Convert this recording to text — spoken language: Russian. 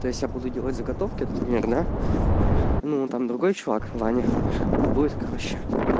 то есть я буду делать заготовки например да ну там другой человек ваня будет короче